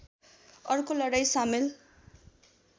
अर्को लडाईँ सामेल